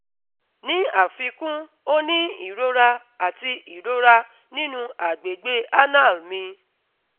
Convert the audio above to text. ni afikun, o ni irora ati irora ninu agbegbe anal mi